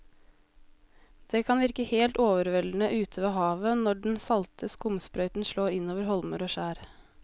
Det kan virke helt overveldende ute ved havet når den salte skumsprøyten slår innover holmer og skjær.